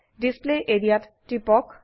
display area ত টিপক